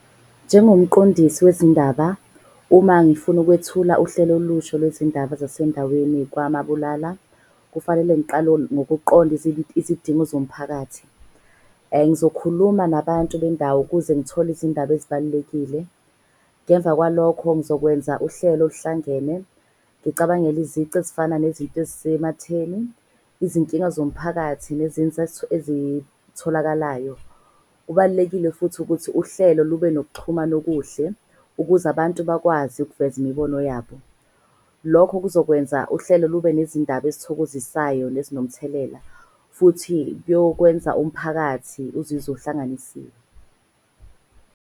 Njengomqondisi wezindaba, uma ngifuna ukwethula uhlelo olusha olwezindaba zasendaweni kwaMabulala. Kufanele ngiqale ngokuqonda izidingo zomphakathi. Ngizokhuluma nabantu bendawo ukuze ngithole izindaba ezibalulekile. Ngemva kwalokho ngizokwenza uhlelo oluhlangene. Ngicabangele izici ezifana nezinto ezisematheni, izinkinga zomphakathi ezitholakalayo. Kubalulekile futhi ukuthi uhlelo lube nokuxhumana okuhle, ukuze abantu bakwazi ukuveza imibono yabo. Lokho kuzokwenza uhlelo lube nezindaba ezithokozisayo nezinomthelela. Futhi kuyokwenza umphakathi uzizwe uhlanganisiwe.